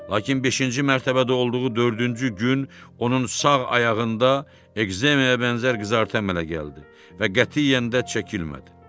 Lakin beşinci mərtəbədə olduğu dördüncü gün onun sağ ayağında ekzemiyaya bənzər qızartı əmələ gəldi və qətiyyən də çəkilmədi.